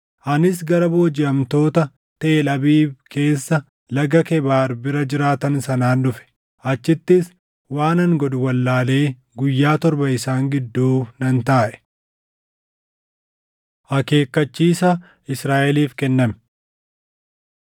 Anis gara boojiʼamtoota Teel Abiib keessa Laga Kebaar bira jiraatan sanaan dhufe. Achittis waanan godhu wallaalee guyyaa torba isaan gidduu nan taaʼe. Akeekkachiisa Israaʼeliif Kenname